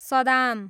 Saddam